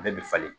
A bɛɛ bɛ falen